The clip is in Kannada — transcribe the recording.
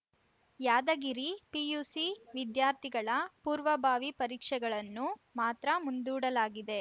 ಯಾದಗಿರಿ ಪಿಯುಸಿ ವಿದ್ಯಾರ್ಥಿಗಳ ಪೂರ್ವಭಾವಿ ಪರೀಕ್ಷೆಗಳನ್ನು ಮಾತ್ರ ಮುಂದೂಡಲಾಗಿದೆ